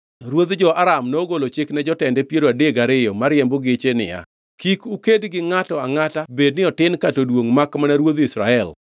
Ruodh jo-Aram nogolo chik ne jotende piero adek gariyo mariembo geche niya, “Kik uked gi ngʼato angʼata bed ni otin kata oduongʼ makmana ruodh Israel.”